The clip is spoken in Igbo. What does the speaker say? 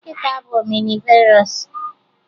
Nkịta bụ omnivores